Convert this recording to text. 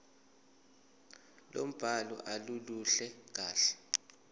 lombhalo aluluhle kahle